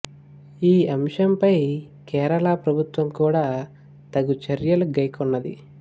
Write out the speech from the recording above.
ఈ అంశంపై కేరళ ప్రభుత్వం కూడా తగు చర్యలు గైకొన్నది